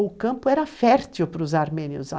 O campo era fértil para os armênios.